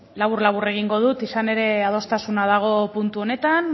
labur labur egingo dut izan ere adostasuna dago puntu honetan